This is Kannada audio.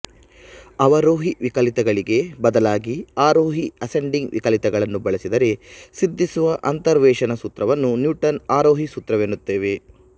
ಅವರೋಹಿ ವಿಕಲಿತಗಳಿಗೆ ಬದಲಾಗಿ ಆರೋಹಿ ಅಸೆಂಡಿಂಗ್ ವಿಕಲಿತಗಳನ್ನು ಬಳಸಿದರೆ ಸಿದ್ಧಿಸುವ ಅಂತರ್ವೇಶನ ಸೂತ್ರವನ್ನು ನ್ಯೂಟನ್ ಆರೋಹಿ ಸೂತ್ರವೆನ್ನುತ್ತೇವೆ